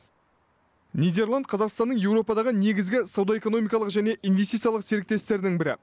нидерланд қазақстанның еуропадағы негізгі сауда экономикалық және инвестициялық серіктестерінің бірі